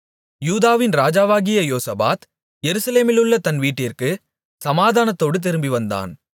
யூதாவின் ராஜாவாகிய யோசபாத் எருசலேமிலுள்ள தன் வீட்டிற்குச் சமாதானத்தோடு திரும்பிவந்தான்